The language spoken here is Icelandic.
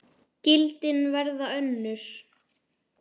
Gildin verða önnur.